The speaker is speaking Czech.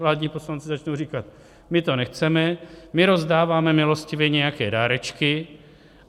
Vládní poslanci začnou říkat: My to nechceme, my rozdáváme milostivě nějaké dárečky.